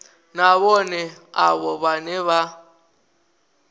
na vhohe avho vhane vha